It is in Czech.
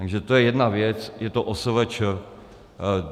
Takže to je jedna věc, je to OSVČ.